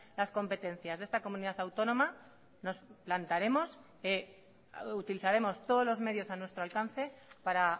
las competencias de esta comunidad autónoma nos plantaremos utilizaremos todos los medios a nuestro alcance para